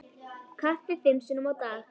Kaffi fimm sinnum á dag.